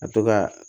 A to ka